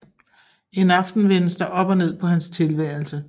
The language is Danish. En aften vendes der op og ned på hans tilværelse